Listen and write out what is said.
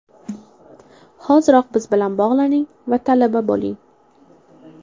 Hoziroq biz bilan bog‘laning va talaba bo‘ling!